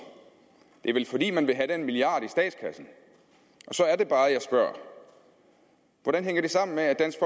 det er vel fordi man vil have den milliard i statskassen så er det bare at jeg spørger hvordan hænger det sammen med at dansk